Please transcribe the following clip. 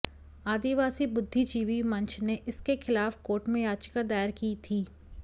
आदिवासी बुद्धिजीवी मंच ने इसके खिलाफ कोर्ट में याचिका दायर की थी